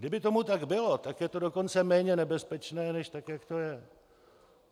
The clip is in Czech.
Kdyby tomu tak bylo, tak je to dokonce méně nebezpečné než tak, jak to je.